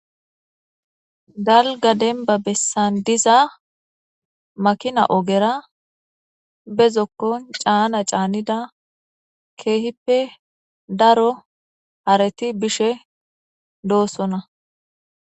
Dalgga dembba bessan de'iza makkina oggera bezokkon canna cannida kehippe daro haretti bishsh doosona.